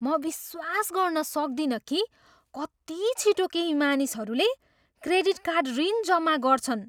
म विश्वास गर्न सक्दिनँ कि कति छिटो केही मानिसहरूले क्रेडिट कार्ड ऋण जम्मा गर्छन्।